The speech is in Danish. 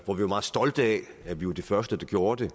hvor vi var meget stolte af at vi var de første der gjorde det